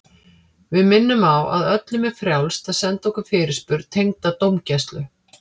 Við minnum á að öllum er frjálst að senda okkur fyrirspurn tengda dómgæslu.